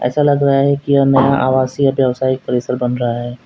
ऐसा लग रहा है कि यह नया आवासीय ब्यवसायी परिसर बन रहा है।